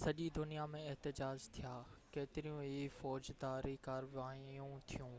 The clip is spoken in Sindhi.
سڄي دنيا ۾ احتجاج ٿيا، ڪيتريون ئي فوجداري ڪاروائيون ٿيون